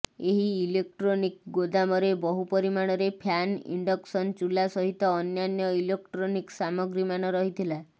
ଏହି ଇଲେକ୍ଟ୍ରୋନିକ ଗୋଦାମରେ ବହୁ ପରିମାଣରେ ଫ୍ୟାନ ଇଣ୍ଡକସନ୍ ଚୁଲା ସହିତ ଅନ୍ୟାନ୍ୟ ଇଲୋକ୍ଟ୍ରୋନିକ୍ ସାମଗ୍ରୀମାନ ରହିଥିଲା